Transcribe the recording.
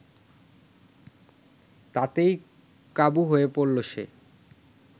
তাতেই কাবু হয়ে পড়ল সে